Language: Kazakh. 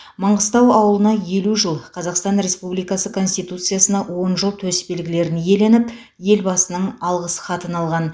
маңғыстау ауылына елу жыл қазақстан республикасы конституциясына он жыл төсбелгілерін иеленіп елбасының алғыс хатын алған